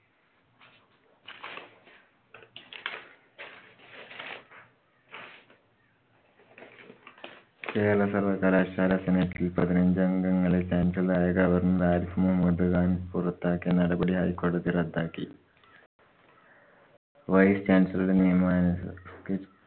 കേരള സര്‍വ്വകലാശാല senate ല്‍ പതിനഞ്ചഗംങ്ങളെ chancellor ആയ governor ആരിഫ് മുഹമ്മദ്‌ ഖാന്‍ പുറത്താകിയ നടപടി ഹൈ കോടതി റദ്ദാക്കി. vice chancellor രുടെ നിയമ